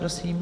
Prosím.